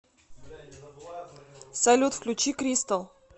салют включи кристал